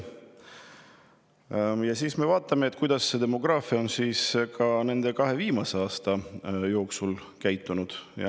Vaatame, kuidas on kahe viimase aasta jooksul.